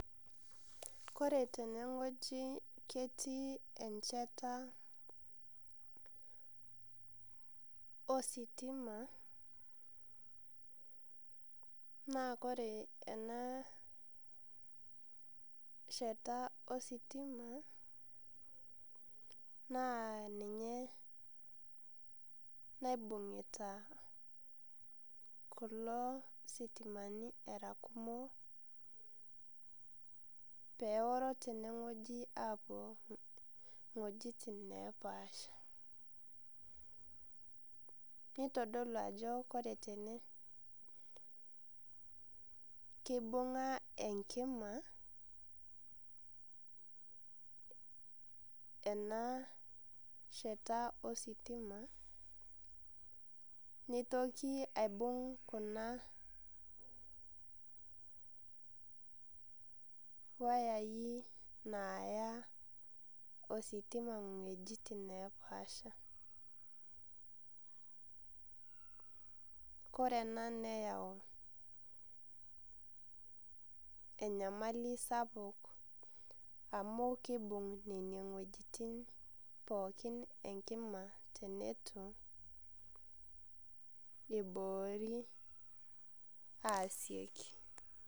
Kore tene wueji netii encheta ositima, naa kore enaa sheta ositima, naa ninye naibung'ita kulo sitimani aa kumok, pee oro tene wueeji aapuo iwuetin napaashaa. Neitodolu ajo kore tene keibung'a enkima ena sheta ositima neitoki aibung' kuna wayai naaya ositima iwuejitin napaasha. Kore ena neyau enyamali sapuk amu eibung' nena wuejitin pookin enkima teneitu eiboori asioki.